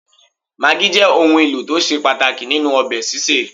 Magí jẹ́ òun ẹlò tó ṣe pàtàkì nínú ọbẹ̀ sísè